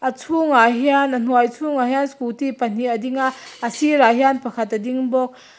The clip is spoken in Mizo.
a chhung ah hian a hnuai chhungah hian scooty pahnih a ding a a sir ah hian pakhat a ding bawk.